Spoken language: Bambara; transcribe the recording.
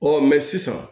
Ɔ mɛ sisan